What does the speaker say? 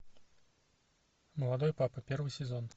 молодой папа первый сезон